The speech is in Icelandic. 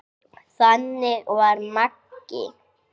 Þannig var Maggi.